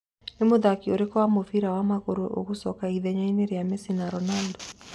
Nĩ mũthaki ũrĩkũ wa mũbira wa magũrũ ũgũcika ithenya-inĩ rĩa Mesi na Ronando ?